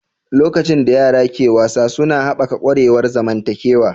Lokacin da yara ke wasa suna haɓaka ƙwarewar zamantakewa.